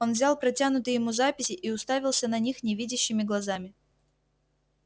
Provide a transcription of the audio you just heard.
он взял протянутые ему записи и уставился на них невидящими глазами